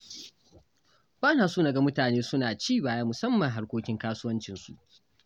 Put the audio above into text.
Ba na son na ga mutane su na ci baya musamman harkokin kasuwancinsu.